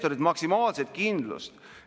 Ja need on faktid reaalsest elust.